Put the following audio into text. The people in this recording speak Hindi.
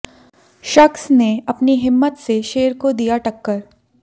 शख्स ने अपनी हिम्मत से शेर को दिया टक्कर